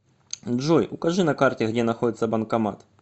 джой укажи на карте где находится банкомат